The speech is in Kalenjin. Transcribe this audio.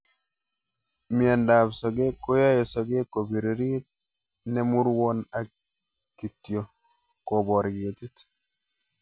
Miondab sokek koyoe sokek kobiririt nemurwon ak kityo kobar ketit